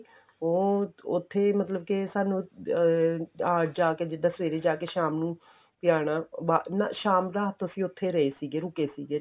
ਉਹ ਉੱਥੇ ਮਤਲਬ ਕੇ ਸਾਨੂੰ ਅਹ ਜਾਕੇ ਜਿੱਦਾਂ ਸਵੇਰੇ ਜਾ ਕੇ ਸ਼ਾਮ ਨੂੰ ਵੀ ਆਉਣਾ ਨਾ ਸ਼ਾਮ ਦਾ ਰਾਤ ਅਸੀਂ ਉੱਥੇ ਰਹੇ ਸੀਗੇ ਰੁਕੇ ਸੀਗੇ